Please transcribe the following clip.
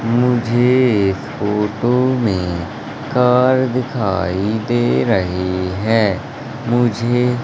मुझे इस फोटो में कार दिखाई दे रही है मुझे--